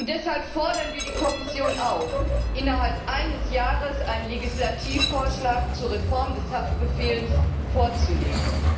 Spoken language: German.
Deshalb fordern wir die Kommission auf, innerhalb eines Jahres einen Legislativvorschlag zur Reform des Haftbefehls vorzulegen.